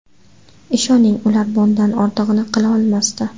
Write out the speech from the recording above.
Ishoning, ular bundan ortig‘ini qila olmasdi.